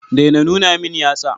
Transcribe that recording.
Daina nuna min yatsa.